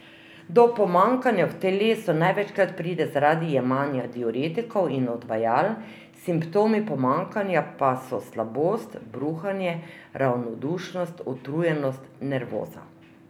Do pomanjkanja v telesu največkrat pride zaradi jemanja diuretikov in odvajal, simptomi pomanjkanja pa so slabost, bruhanje, ravnodušnost, utrujenost, nervoza.